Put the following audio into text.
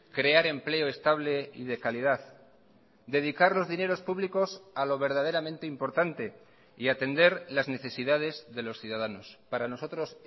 crear empleo estable y de calidad dedicar los dineros públicos a lo verdaderamente importante y atender las necesidades de los ciudadanos para nosotros